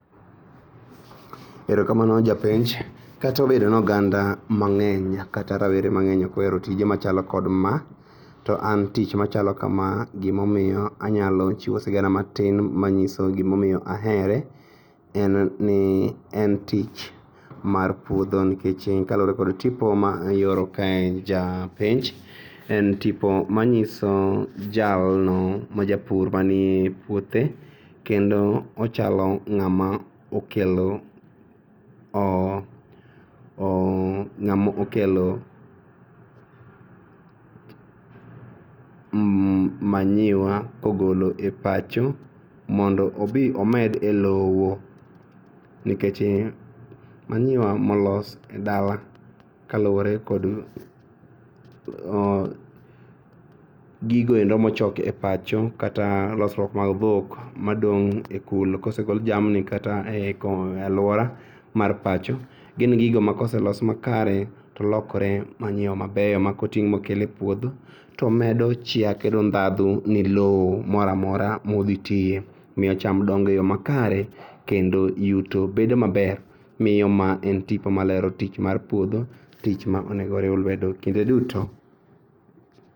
Erokamano japenj katobedo noganda mang'eny kata rawere mang'eny okoero tije machalo kod maa. To an tich machalo kama gimomiyo anyalo chiwo sigana matin manyiso gimomiyo ahere. En ni en tich mar puodho nikech kalure kod tipo mioro kae japenj, en tipo manyiso jalno majapur mani puothe kendo ochalo ng'ama okelo ng'ama okelo manyiwa kogolo e pacho mondo obi omed e lowo nikech manyiwa molos e dala kaluore kod gigo endo mochok e pacho kata losruok mag dhok madong' e kulo. Kosegol jamni kata e aluora mar pacho gin gigo makoselos makare tolokore manyiwa mabeyo makoting' tokele puodho tomedo chia kedo ndhadho ne lo moramora modhitiye. Miyo cham donge yoo makare kendo yuto bedo maber. Miyo maa en tipo malero tich mar puodho. Tich ma onego oriu lwedo kinde duto.